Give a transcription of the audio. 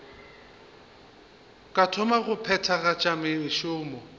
ka thoma go phethagatša mešomo